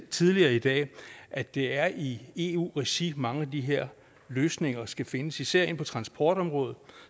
tidligere i dag at det er i eu regi mange af de her løsninger skal findes især inden for transportområdet